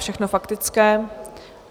Všechno faktické.